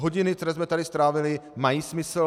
Hodiny, které jsme tady strávili, mají smysl.